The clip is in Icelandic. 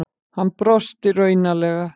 Hann brosti raunalega.